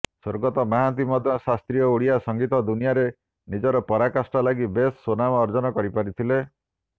ସ୍ୱର୍ଗତ ମହାନ୍ତି ମଧ୍ୟ ଶାସ୍ତ୍ରୀୟ ଓଡ଼ିଆ ସଙ୍ଗୀତ ଦୁନିଆରେ ନିଜର ପରାକାଷ୍ଠା ଲାଗି ବେଶ୍ ସ୍ୱନାମ ଅର୍ଜନ କରିପାରିଥିଲେ